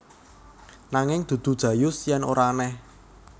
Nanging dudu Jayus yen ora aneh